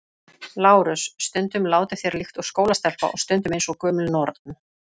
LÁRUS: Stundum látið þér líkt og skólastelpa og stundum eins og gömul norn.